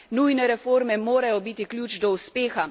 Nujne reforme morajo biti ključ do uspeha.